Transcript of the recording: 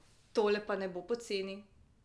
Tole pa ne bo poceni!